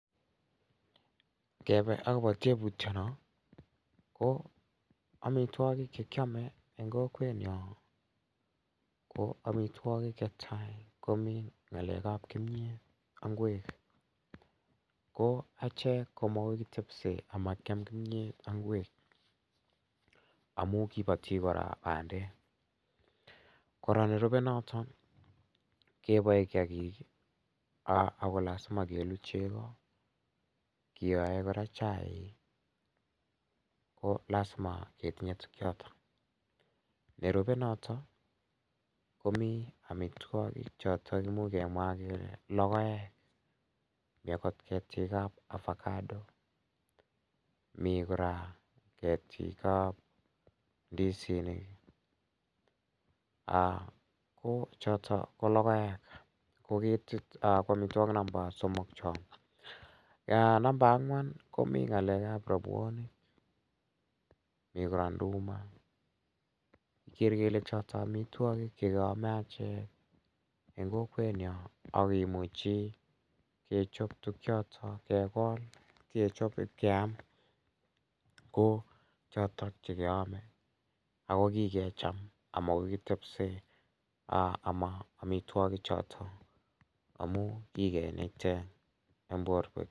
Ngebe akobo tebutyono ko omitwokik chekiome eng' kokwenyo ko omitwokik chetai ko mi ng'alekab kimiyet ak ng'wek ko achek ko makoi kitepse amakiam kimyet ak ng'wek amu kiboti kora bandek kora nerubei noto keboe kiyakik ako lazima kelu chego kiyoe kora chaik ko lazima ketinye tukyoto nerubei noto komi omitwokik choto muuch kemwa kele lokoek mi akot ketikab avocado mi kora ketikab ndisinik ako choto ko lokoek ko omitwok namba somok cho namba ang'wan komi ng'alekab robwonik mi kora nduma kikere kele choto omitwokik chekeome achek eng' kokwenyo ak kimuche kechop tukchotok kekol kechop keam ko chotok chekeome ako kikecham amakoi kitepse ama omitwoki choto amu kikenaite eng' borwek